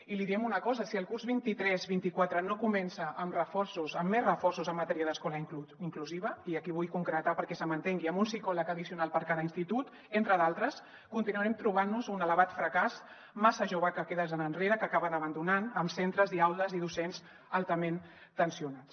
i li diem una cosa si el curs vint tres vint quatre no comença amb reforços amb més reforços en matèria d’escola inclusiva i aquí ho vull concretar perquè se m’entengui amb un psicòleg addicional per a cada institut entre d’altres continuarem trobant nos un elevat fracàs massa joves que queden enrere que acaben abandonant amb centres i aules i docents altament tensionats